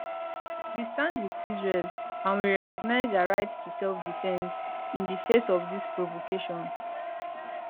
we stand wit israel and we recognise her right to selfdefence in di face of dis provocation